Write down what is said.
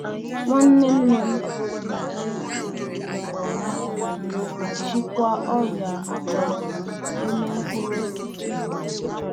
Nwanne nna m na-eji ntụ unyi na -egbu nje ọrịa na mgbọrọgwụ Ihe akụkụ na etolite etolite.